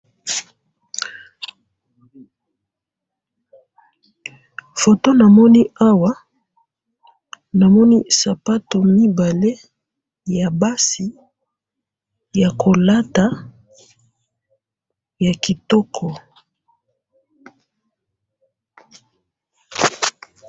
foto namoni awa namoni sapato mibale ya basi ya kolata ya kitoko